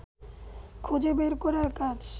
খুঁজে বের করার কাজ